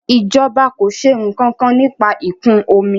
ìjọba kọ ṣe nkankan nípa ikun omi